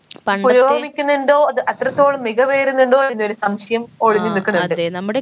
പുരോഗമിക്കുന്നുണ്ടോ അത് അത്രത്തോളം മികവേറുന്നുണ്ടോ എന്നൊരു സംശയം ഒളിഞ്ഞ് നിക്കുന്നുണ്ട്